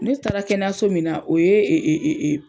Ne taara kɛnɛyaso min na o ye